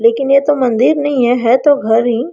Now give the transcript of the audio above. लेकिन ये तो मंदिर नहीं है है तो घर ही।